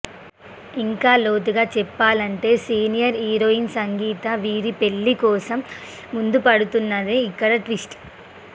ఇంకా లోతుగా చెప్పాలంటే సీనియర్ హీరోయిన్ సంగీత వీరి పెళ్లి కోసం ముందుపడుతోందనేది ఇక్కడ ట్విస్ట్